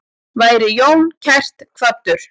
Veri Jón kært kvaddur.